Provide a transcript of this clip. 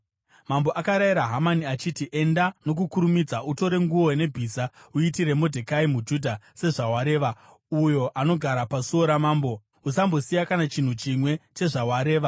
Mambo akarayira Hamani achiti, “Enda nokukurumidza, utore nguo nebhiza uitire Modhekai muJudha, sezvawareva, uyo anogara pasuo ramambo. Usambosiya kana chinhu chimwe chezvawareva.”